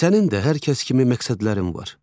sənin də hər kəs kimi məqsədlərin var.